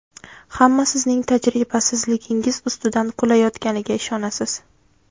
Hamma sizning tajribasizligingiz ustidan kulayotganiga ishonasiz.